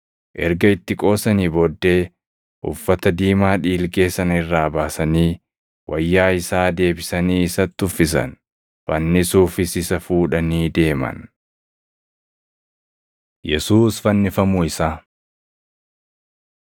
Erga itti qoosanii booddee uffata diimaa dhiilgee sana irraa baasanii wayyaa isaa deebisanii isatti uffisan. Fannisuufis isa fuudhanii deeman. Yesuus Fannifamuu Isaa 15:22‑32 kwf – Mat 27:33‑44; Luq 23:33‑43; Yoh 19:17‑24